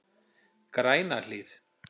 Grænahlíð